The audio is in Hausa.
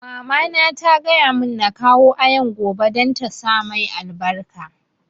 Mama na ta gaya mun na kawo Ayaan gobe don ta sa mai albarka